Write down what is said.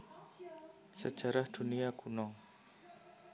Sejarah Dunia Kuno